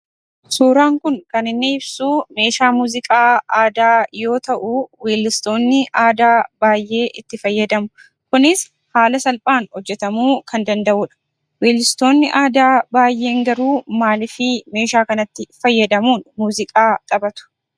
Suuraan kun kan inni ibsuu meeshaa muuziqaa aadaa yoo ta'u weellistoonni aadaa baayyee itti fayyadamu kunis haala salphaan hojjatamuu kan danda'udha. Weellistoonni aadaa baayyeen garuu maalif meeshaa kanatti fayyadamuun muuziqaa taphatu?